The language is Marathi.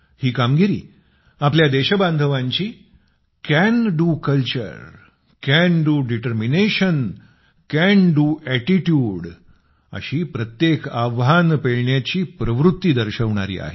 ही कामगिरी आपल्या देशबांधवांची can do culture can do determination can do attitude मी हे करू शकतो संस्कृती करण्याचा निश्चय आणि करण्याची प्रवृत्ती अशी प्रत्येक आव्हान पेलण्याची प्रवृत्ती दर्शवणारी आहे